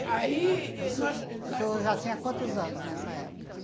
Aí, nós... O senhor o senhor já tinha quantos anos nessa época?